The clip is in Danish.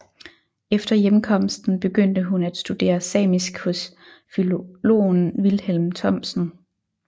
Efter hjemkomsten begyndte hun at studere samisk hos filologen Vilhelm Thomsen